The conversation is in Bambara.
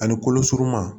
Ani kolo suruman